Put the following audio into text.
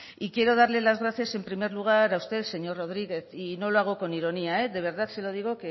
quiero dar las gracias en primer lugar a usted señor rodríguez y no lo hago con ironía de verdad se lo digo